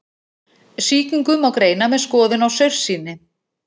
Sýkingu má greina með skoðun á saursýni.